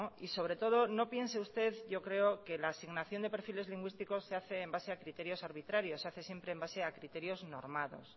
y sobre todo no piense usted yo creo que asignación de perfiles lingüísticos se hace en base a criterios arbitrarios se hace siempre en base a criterios normados